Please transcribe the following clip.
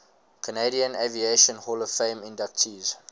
canadian aviation hall of fame inductees